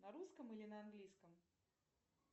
на русском или на английском